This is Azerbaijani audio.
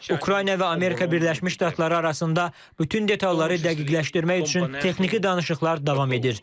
Ukrayna və Amerika Birləşmiş Ştatları arasında bütün detalları dəqiqləşdirmək üçün texniki danışıqlar davam edir.